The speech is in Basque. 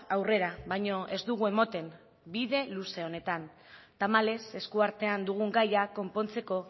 aurrera baino ez dugu ematen bide luze honetan tamalez eskuartean dugun gaia konpontzeko